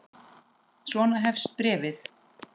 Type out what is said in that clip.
Svona hefst bréfið